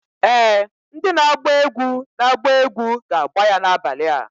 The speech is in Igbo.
Ee! Ndị na-agba egwu na-agba egwu ga-agbà ya n'abalị a.